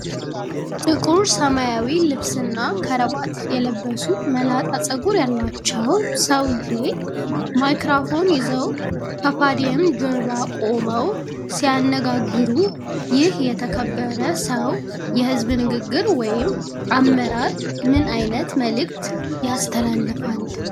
ጥቁር ሰማያዊ ልብስና ክራቫት የለበሱ፣ መላጣ ፀጉር ያላቸው ሰውዬ ማይክሮፎን ይዘው ከፖዲየም ጀርባ ቆመው ሲያነጋግሩ፣ ይህ የተከበረ ሰው የህዝብ ንግግር ወይም አመራር ምን አይነት መልእክት ያስተላልፋል?